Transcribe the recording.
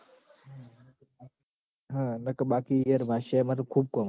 હમ ન ક બાકી યાર બાદશાહ ય મન ખૂબ કોમ આવ સ